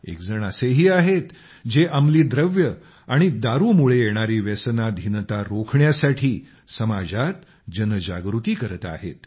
एकजण असेही आहेत जे अमली द्रव्ये आणि दारूमुळे येणारी व्यसनाधीनता रोखण्यासाठी समाजात जनजागृती करत आहेत